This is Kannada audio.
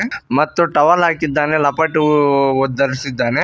ಮತ್ತು ಟವಲ್ ಹಾಕಿದ್ದಾನೆ ಲಪಾಟಿ ಒದ್ದು ಧರಿಸಿದ್ದಾನೆ.